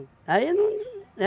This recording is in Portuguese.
Aí não, é